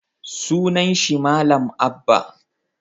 Sunan shi malam Abba